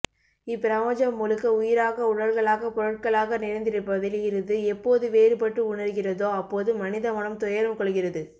இப்பிரபஞ்சம் முழுக்க உயிராக உடல்களாக பொருட்களாக நிறைந்திருப்பதில் இருந்து எப்போது வேறுபட்டு உணர்கிறதோ அப்போது மனிதமனம் துயரம் கொள்கிறது